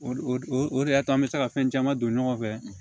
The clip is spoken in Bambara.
O de o de o de y'a to an bɛ se ka fɛn caman don ɲɔgɔn fɛ